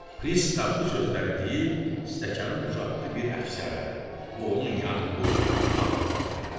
Pristav bu sözləri deyib stəkanı uzatdı bir əfsərə və onun yanında oturan arvadına tərəf.